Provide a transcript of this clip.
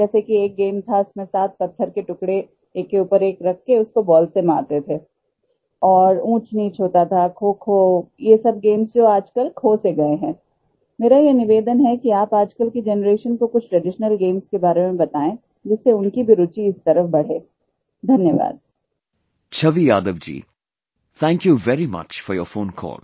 Chhavi Yadav ji, thank you very much for your phone call